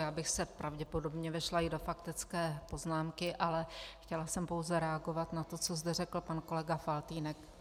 Já bych se pravděpodobně vešla i do faktické poznámky, ale chtěla jsem pouze reagovat na to, co zde řekl pan kolega Faltýnek.